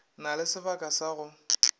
na le sebaka sa go